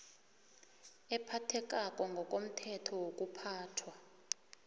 ephakemeko ngokomthetho wokuphathwa